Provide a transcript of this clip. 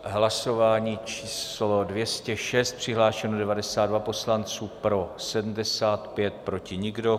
Hlasování číslo 206, přihlášeno 92 poslanců, pro 75, proti nikdo.